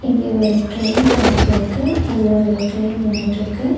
இங்க ஒரு train track இருக்கு அதுல ஒரு ட்ரெயின் நின்னிட்ருக்கு.